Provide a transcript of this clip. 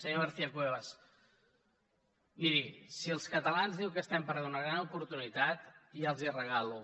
senyora garcia cuevas miri si els catalans diu que estem perdent una gran oportunitat ja els la regalo